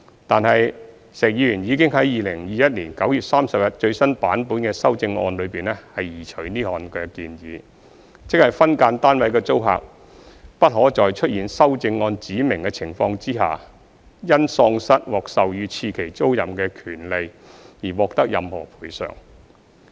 但是，石議員已在2021年9月30日最新版本的修正案中移除此項建議，即分間單位的租客不可在出現修正案指明的情況下，因喪失獲授予次期租賃的權利而獲得任何賠償。